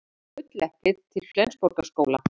Gulleplið til Flensborgarskóla